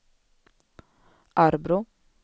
Arbrå